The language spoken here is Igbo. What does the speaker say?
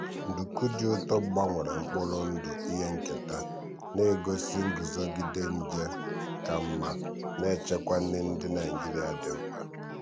nduku dị ụtọ gbanwere mkpụrụ ndụ ihe nketa na-egosi nguzogide nje ka mma na-echekwa nri ndị nigeria dị mkpa.